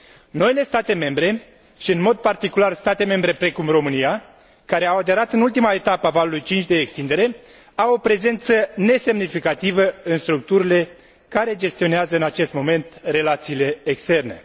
Noile state membre, și în mod particular state membre precum România, care au aderat în ultima etapă a valului 5 de extindere, au o prezență nesemnificativă în structurile care gestionează în acest moment relațiile externe.